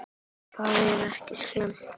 Það er ekki slæmt.